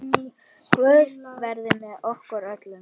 Guð veri með okkur öllum.